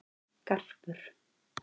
Garpur